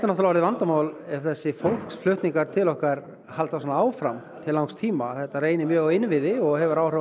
orðið vandamál ef þessir fólksflutningar til okkar halda svona áfram til langs tíma þetta reynir mjög á innviði og hefur áhrif á